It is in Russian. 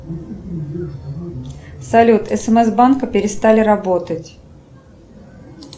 салют смс банка перестали работать